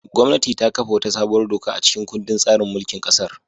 Gwamnati ta kafa wata sabuwar doka a cikin kundin tsarin mulkin kasar.